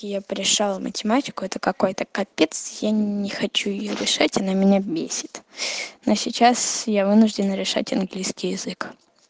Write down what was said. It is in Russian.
я пришёл математику это какой-то капец я не хочу её решать она меня бесит но сейчас я вынуждена решать английский язык